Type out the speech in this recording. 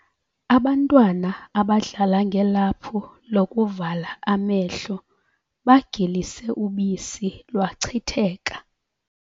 Abantwana abadlala ngelaphu lokuvala amehlo bagilise ubisi lwachitheka.